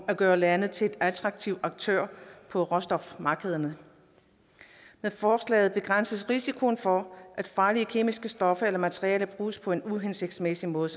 at gøre landet til en attraktiv aktør på råstofmarkederne med forslaget begrænses risikoen for at farlige kemiske stoffer eller materialer bruges på en uhensigtsmæssig måde